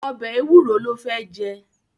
Ọbẹ̀ Ewúro ló fé jẹ.